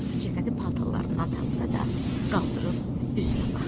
Cəsədi paltarlarından tanısa da, qaldırıb üzünə baxdı.